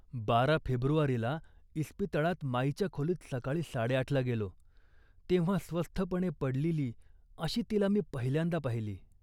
बारा फेब्रुवारीला इस्पितळात माईच्या खोलीत सकाळी साडेआठला गेलो, तेव्हा स्वस्थपणे पडलेली अशी तिला मी पहिल्यांदा पाहिली.